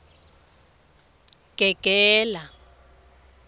gegela